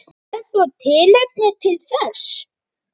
Er þó tilefni til þess.